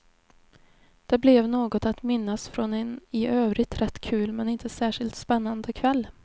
Det blev något att minnas från en i övrigt rätt kul men inte särskilt spännande kväll.